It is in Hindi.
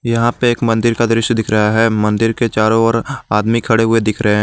यहां पे एक मंदिर का दृश्य दिख रहा है मंदिर के चारों ओर आदमी खड़े हुए दिख रहे हैं।